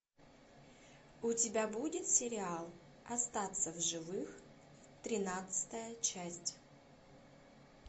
у тебя будет сериал остаться в живых тринадцатая часть